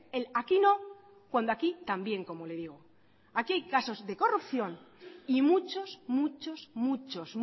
el aquí no cuando aquí también como le digo aquí hay casos de corrupción y muchos muchos muchos